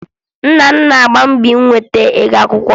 Nna m na-agba mbọ inweta ụgwọ akwụkwọ m